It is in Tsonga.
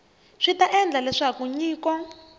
swi ta endla leswaku nyiko